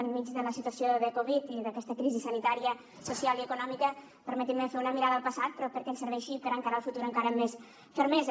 enmig de la situació de covid i d’aquesta crisi sanitària social i econòmica permetin me fer una mirada al passat però perquè ens serveixi per encarar el futur encara amb més fermesa